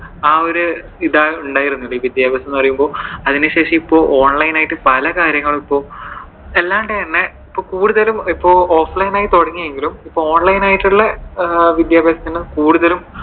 ആ ഒരു ഇതാണ് ഉണ്ടായിരുന്നത്. ഈ വിദ്യാഭ്യാസം എന്ന് പറയുമ്പോ. അതിനുശേഷം ഇപ്പോ online ആയിട്ട് പല കാര്യങ്ങളും ഇപ്പോൾ എല്ലാ തന്നെ കൂടുതലും ഇപ്പോൾ offline ആയി തുടങ്ങിയെങ്കിലും online ആയിട്ടുള്ള വിദ്യഭ്യാസത്തിനു കൂടുതലും.